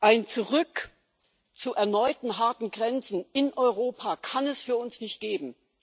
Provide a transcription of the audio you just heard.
Ein Zurück zu erneuten harten Grenzen in Europa kann es für uns nicht geben